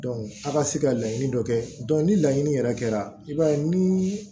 a ka se ka laɲini dɔ kɛ ni laɲini yɛrɛ kɛra i b'a ye ni